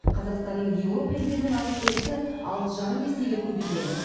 қазақстанның еуропа елдерімен алыс берісі алты жарым есеге көбейген